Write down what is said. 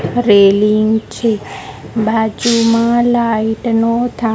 railing છે બાજુમાં light નો થા--